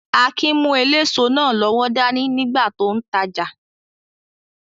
Akin mú eléso náà lọ́wọ́ dání nígbà tó n tajà